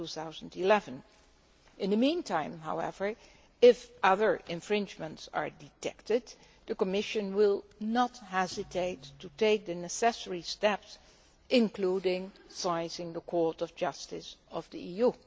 2011. In the meantime, however, if other infringements are detected, the Commission will not hesitate to take the necessary steps, including citing the Court of Justice of the EU.